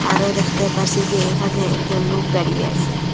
আরো দেখতে পারসি যে এখানে একজন লোক দাঁড়িয়ে আসে।